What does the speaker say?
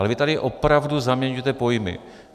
Ale vy tady opravdu zaměňujete pojmy.